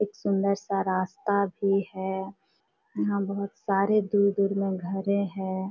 एक सुंदर सा रास्ता भी है। यहाँ बहुत सारे दूर-दूर में घरे हैं।